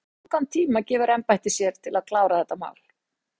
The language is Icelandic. Höskuldur: Hversu langan tíma gefur embættið sér til þess að klára þetta mál?